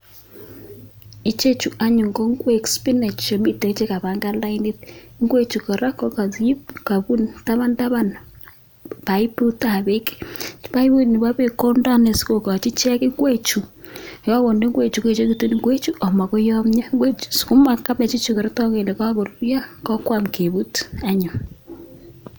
Ichechu anyun ko ingwek spinach chemiten chekapangan lainit, ingwechu kora kokakiip, kabuun taban taban paiputab beek, paipun kondoi sikokochi ingwechu, ye kakondee ingwechu koechekitu ingwechu amakoyomio. Ingwechu, kabechichu kotoku kole kakoruryo kokwam keput anyun.